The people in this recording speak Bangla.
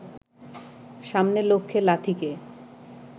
সামনে লক্ষ্যে লাথিকে